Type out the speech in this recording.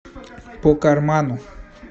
по карману